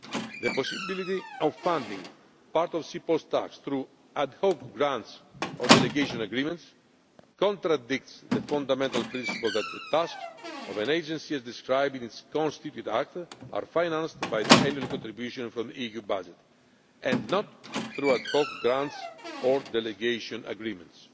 The possibility of funding part of CEPOL's tasks through ad hoc grants or delegation agreements contradicts the fundamental principle that the tasks of an agency, as described in its constituent act, are financed by the annual contribution from EU budget and not through ad hoc grants or delegation agreements.